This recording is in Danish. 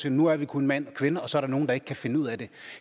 at nu er der kun mand og kvinde og så er der nogle der ikke kan finde ud af det